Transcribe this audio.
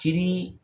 Cili